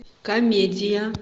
комедия